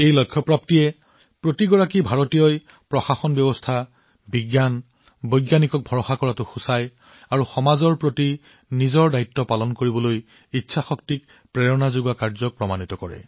ই প্ৰত্যেক ভাৰতীয়ৰ বিশ্বাস প্ৰণালী বিজ্ঞান বিজ্ঞানীসকলৰ ওপৰত বিশ্বাস আৰু সমাজৰ প্ৰতি তেওঁৰ দায়বদ্ধতা পালন কৰাটোও আমাৰ ভাৰতীয়সকলৰ ইচ্ছাশক্তিৰ প্ৰমাণ